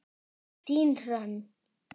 Þín Hrönn.